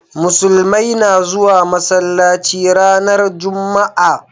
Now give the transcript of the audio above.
Musulmai na zuwa masallaci ranar jumma'a